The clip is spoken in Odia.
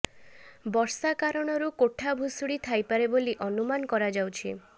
ବର୍ଷା କାରଣରୁ କୋଠା ଭୁଶୁଡ଼ି ଥାଇପାରେ ବୋଲି ଅନୁମାନ କରାଯାଉଛି